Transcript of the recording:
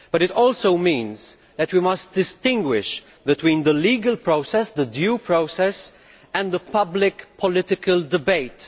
But it also means that we must distinguish between the legal process the due process and the public political debate.